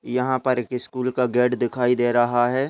यहाँ पर एक स्कूल का गेट दिखाई दे रहा हैं।